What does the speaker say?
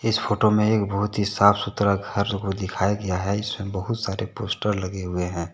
इस फोटो में एक बहुत ही साफ सुथरा घर को दिखाया गया है इसमें बहुत सारे पोस्टर लगे हुए हैं।